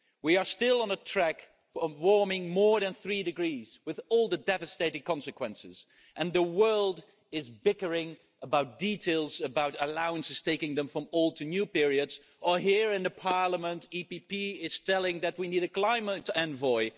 We are still on a track of warming more than three degrees, with all the devastating consequences, and the world is bickering about details, about allowances, taking them from old to new periods, or here in the Parliament, the EPP is saying that we need a climate envoy.